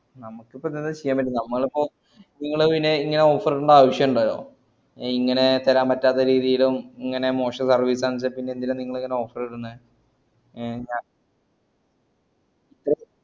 നമക്കിപ്പോ എന്തെങ്കിലും ചെയ്യാബറ്റോ ഞമ്മളിപ്പോ നിങ്ങള് പിന്നെ ഇങ്ങനെ offer ഇടണ്ടേ ആവ്ശംണ്ടോ ഇങ്ങനെ തെരാപറ്റാതെ രീതിയിലും ഇങ്ങനെ മോശം service ഉം ആണ്ച്ചാ ന്തിനാ പിന്നങ്ങള് offer ഇടന്നേ